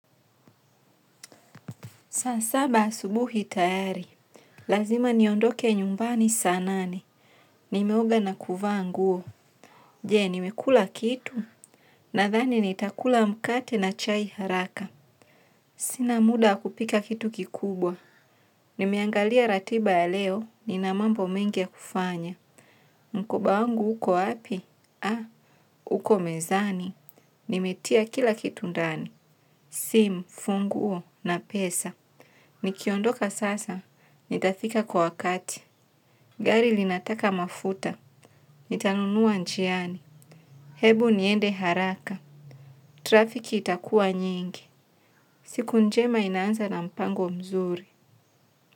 Saa saba asubuhi tayari. Lazima niondoke nyumbani saa nane. Nimeoga na kuvaa nguo. Je, nimekula kitu? Nadhani nitakula mkate na chai haraka. Sina muda wa kupika kitu kikubwa. Nimeangalia ratiba ya leo, nina mambo mengi ya kufanya. Mkoba wangu uko wapi? Ha, uko mezani. Nimetia kila kitu ndani. Simu, funguo, na pesa. Nikiondoka sasa, nitafika kwa wakati. Gari linataka mafuta. Nitanunua njiani ebu niende haraka. Trafiki itakua nyingi. Siku njema inaanza na mpango mzuri.